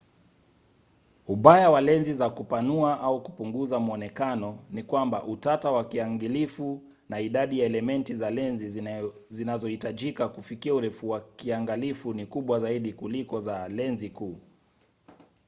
ubaya wa lenzi za kupanua au kupunguza mwonekano ni kwamba utata wa kiangalifu na idadi ya elementi za lenzi zinazohitajika kufikia urefu wa kiangalifu ni kubwa zaidi kuliko za lenzi kuu